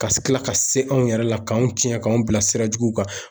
Ka tila ka se anw yɛrɛ la k'anw tiɲɛ k'anw bila sira juguw kan.